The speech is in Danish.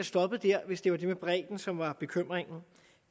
stoppet der hvis det var det med bredden som var bekymringen